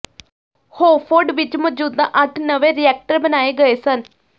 ਹੋਂਫੋਰਡ ਵਿਚ ਮੌਜੂਦਾ ਅੱਠ ਨਵੇਂ ਰਿਐਕਟਰ ਬਣਾਏ ਗਏ ਸਨ